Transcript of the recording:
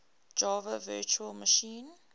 java virtual machine